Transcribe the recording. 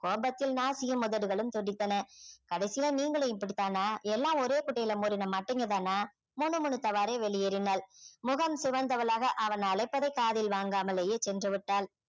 கோபத்தில் நாசியும் உதடுகளும் துடித்தன கடைசியில நீங்களும் இப்படித்தானா எல்லாம் ஒரே குட்டையில ஊறின மட்டைங்க தானா முணுமுணுத்தவாறே வெளியேறினாள் முகம் சிவந்தவளாக அவன் அழைப்பதை காதில் வாங்காமலேயே சென்று விட்டாள்